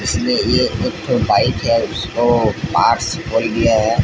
इसमें ये एक ठो बाइक है इसको पार्ट्स खोल गया है।